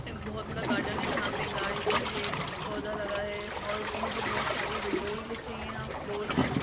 एक बहुत बड़ा गार्डन है जहाँ पर गाडी खड़ी है पोधा लगा है और उसमे बहोत सारी विंडोज दिख रही है यहाँ और फ्लोर्स है।